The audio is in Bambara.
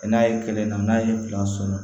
N'a ye kelen na n'a ye filan sɔrɔ